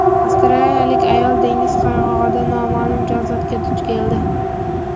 Avstraliyalik ayol dengiz qirg‘og‘ida noma’lum jonzotga duch keldi.